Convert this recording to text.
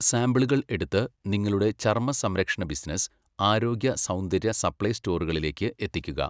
സാമ്പിളുകൾ എടുത്ത് നിങ്ങളുടെ ചർമ്മസംരക്ഷണ ബിസിനസ്സ്, ആരോഗ്യ, സൗന്ദര്യ, സപ്ലൈ സ്റ്റോറുകളിലേക്ക് എത്തിക്കുക.